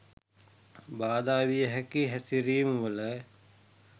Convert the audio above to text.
බාධා විය හැකි හැසිරීම් වල